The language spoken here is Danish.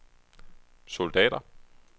soldater